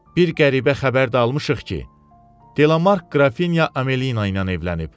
Bir qəribə xəbər də almışıq ki, Delamark Qrafinya Amelina ilə evlənib.